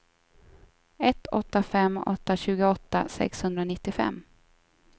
ett åtta fem åtta tjugoåtta sexhundranittiofem